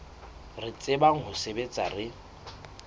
re tsebang ho sebetsa re